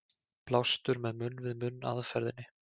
Blástur með munn-við-munn aðferðinni.